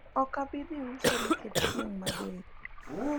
okabidhi uso nikech chieng mager